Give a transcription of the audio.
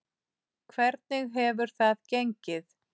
Hvernig hefur það gengið?